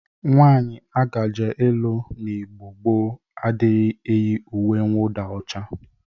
Nwaanyị a ga-je ịlụ n'Igbo gboo adịrịghị eyi uwe nwụda ọcha.